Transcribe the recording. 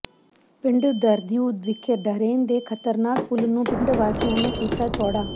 ਪਿੰਡ ਧਰਦਿਓ ਵਿਖੇ ਡਰੇਨ ਦੇ ਖਤਰਨਾਕ ਪੁਲ ਨੂੰ ਪਿੰਡ ਵਾਸੀਆਂ ਨੇ ਕੀਤਾ ਚੌੜਾ